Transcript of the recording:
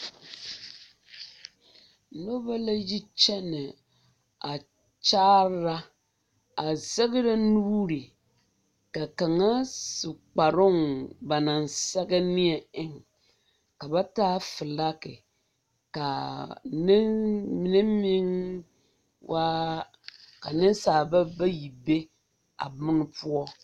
Noba la yi kyɛnɛ a kyaara a zɛgrɛ nuuri ka kaŋa du kparoŋ ba naŋ sɛge neɛ eŋ o soba taa filagi ka nen mine meŋ waa a nensalba bayi be a bone poɔ.